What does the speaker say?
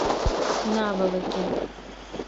наволоки